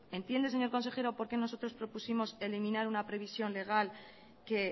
entiende señor consejero por qué nosotros propusimos eliminar una previsión legal que